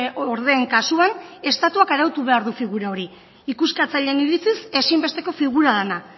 ordeen kasuan estatuak arautu behar du figura hori ikuskatzaileen iritziz ezinbesteko figura dena